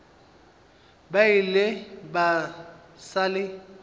ba ile ba sa le